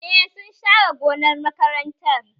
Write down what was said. Eh, sun share gonar makarantar